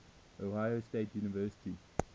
ohio state university